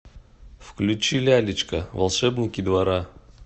включи лялечка волшебники двора